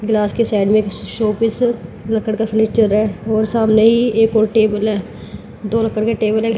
glass के side में showpiece लकड़ी का फर्नीचर रहा है और सामने एक और टेबल है दो और लकड़ी के टेबल --